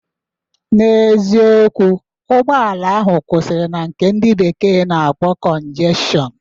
N'eziokwu, ụgbọala kwụsịrị na nke ndị bekee na-akpọ cọnjestshọn